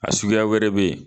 A suguya wɛrɛ bɛ yen